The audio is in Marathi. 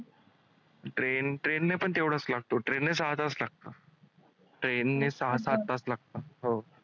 Train train ने पण तेवढंच लागतो train ने सहा तास लागतात.